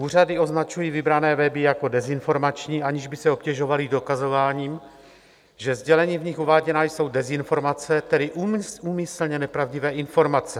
Úřady označují vybrané weby jako dezinformační, aniž by se obtěžovaly dokazováním, že sdělení v nich uváděná jsou dezinformace, tedy úmyslně nepravdivé informace.